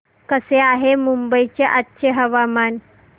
कसे आहे मुंबई चे आजचे हवामान